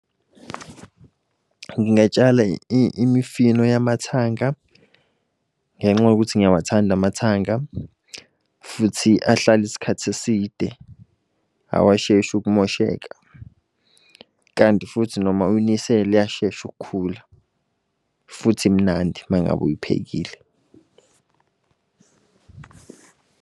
Ngingatshala imifino yamathanga, ngenxa yokuthi ngiyawathanda amathanga futhi ahlala isikhathi eside, awasheshi ukumosheka. Kanti futhi noma uyinisele iyashesha ukukhula. Futhi imnandi mangabe uyiphekile.